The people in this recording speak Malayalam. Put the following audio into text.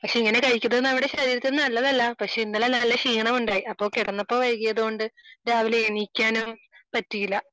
പക്ഷെ ഇങ്ങനെ കഴിക്കുന്നത് നമ്മുടെ ശരീരത്തിന് നല്ലതല്ല പക്ഷെ ഇന്നലെ നല്ല ക്ഷീണമുണ്ടായി അപ്പോൾ കിടന്നപ്പോൾ വൈകിയതുകൊണ്ട് രാവിലെ എണീക്കാനും പറ്റിയില്ല